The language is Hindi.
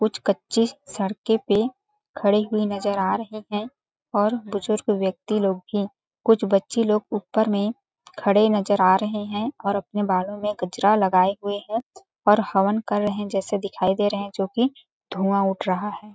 कुछ कच्चे सड़के पे खड़े हुए नज़र आ रहे है और बुजुर्ग व्यक्ति लोग भी कुछ बच्चे लोग ऊपर में खड़े नज़र आ रहे है और अपने बालों में गजरा लगाए हुए है और हवन कर रहे है जैसे दिखाई दे रहे है जोकि धुआँ उठ रहा है।